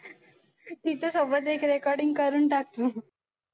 तिच्यासोबत एक recording करून टाक तू.